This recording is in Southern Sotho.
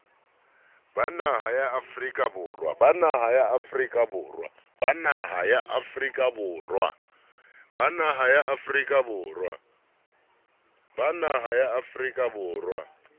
ba naha ya afrika borwa